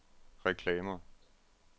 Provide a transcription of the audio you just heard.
reklamer